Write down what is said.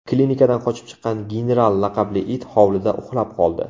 Klinikadan qochib chiqqan General laqabli it hovlida uxlab qoldi .